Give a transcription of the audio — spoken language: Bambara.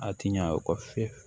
A ti ɲa o kɔ fiyewu